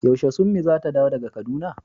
Yaushe summi zata dawo daga kaduna?